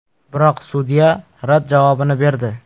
Biroq sudya rad javobini berdi.